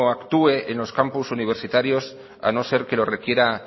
actúe en los campus universitarios a no ser que lo requiera